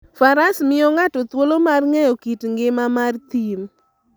Faras miyo ng'ato thuolo mar ng'eyo kit ngima mar thim.